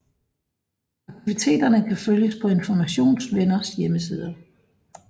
Aktiviteterne kan følges på Informations Venners hjemmeside